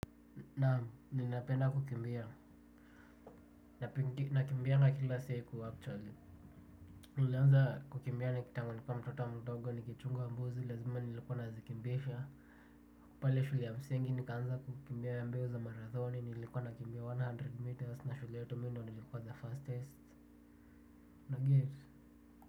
Naam, ninapenda kukimbia, nakimbianga kila siku, actually. Nilianza kukimbia, tangu nikiwa mtoto mdogo, nikichunga mbuzi, lazima nilikuwa nazikimbisha. Pale shule ya msingi nikaanza kukimbia mbio za marathoni, nilikuwa nakimbia one hundred metres na shule yetu mimi ndo nilikuwa the fastest, unaget?